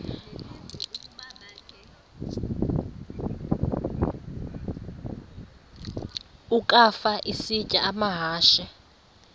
ukafa isitya amahashe